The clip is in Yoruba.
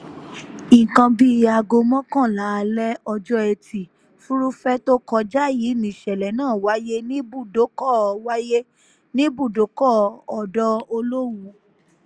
nǹkan bíi aago mọ́kànlá alẹ́ ọjọ́ etí furuufee tó kọjá yìí níṣẹ̀lẹ̀ náà wáyé níbùdókọ̀ wáyé níbùdókọ̀ ọ̀dọ̀ olówú